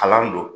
Kalan don